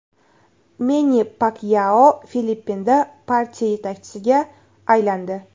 Menni Pakyao Filippinda partiya yetakchisiga aylandi.